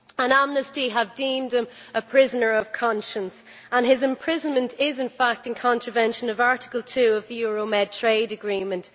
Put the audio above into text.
Amnesty has deemed him a prisoner of conscience and his imprisonment is, in fact, in contravention of Article 2 of the Euro Mediterranean Agreement.